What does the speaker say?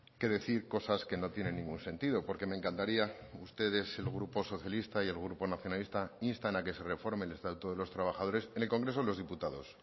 que decir cosas que no tienen ningún sentido porque me encantaría que ustedes el grupo socialista y el grupo nacionalista instan a que se reforme el estatuto de los trabajadores en el congreso de los diputados